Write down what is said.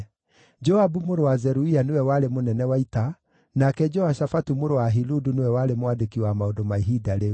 Joabu mũrũ wa Zeruia nĩwe warĩ mũnene wa ita, nake Jehoshafatu mũrũ wa Ahiludu nĩwe warĩ mwandĩki wa maũndũ ma ihinda rĩu.